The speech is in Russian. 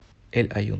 эль аюн